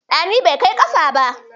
Ɗani bai kai ƙafa ba.